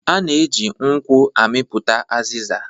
A na-eji nkwụ amịpụta azịza